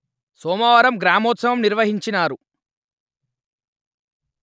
సోమవారం గ్రామోత్సవం నిర్వహించినారు